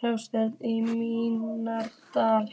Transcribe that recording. gráma maínæturinnar.